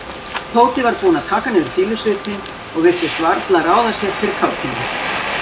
Tóti var búinn að taka niður fýlusvipinn og virtist varla ráða sér fyrir kátínu.